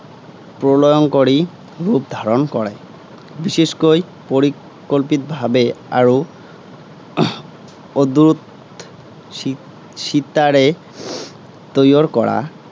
প্ৰলয়ংকৰী ৰূপ ধাৰণ কৰে। বিশেষকৈ পৰিকল্পিত ভাৱে আৰু অদূৰ শি শিতাৰে তৈয়ৰ কৰা